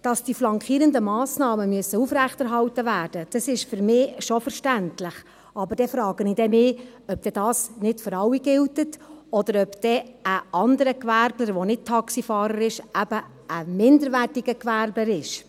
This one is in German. Dass die flankierenden Massnahmen aufrechterhalten werden müssen, ist für mich schon verständlich, aber dann frage ich mich, ob denn dies nicht für alle gilt oder ob dann ein anderer Gewerbler, der nicht Taxifahrer ist, ein minderwertiger Gewerbler ist.